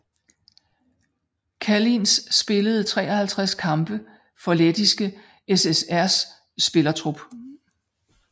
Kalniņš spillede 53 kampe for Lettiske SSRs spillertrup